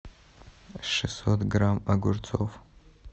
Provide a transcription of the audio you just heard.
шестьсот грамм огурцов